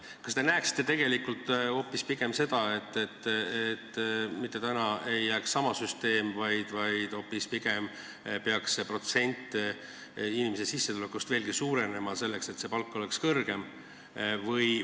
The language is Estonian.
Kas te näeksite tegelikult pigem seda, et mitte tänane süsteem ei jää alles, vaid hoopis protsent, mis inimese sissetulekult makstakse, oleks veelgi suurem, et ka pension oleks suurem?